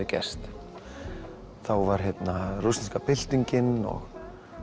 gerst þá var rússneska byltingin og